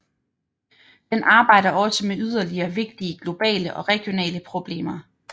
Den arbejder også med yderligere vigtige globale og regionale problemer